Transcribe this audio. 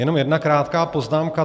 Jenom jedna krátká poznámka.